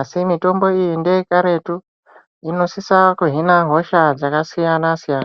Asi mitombo iyi ngeye karetu inosisa kuhina hosha dzakasiyana-siyana.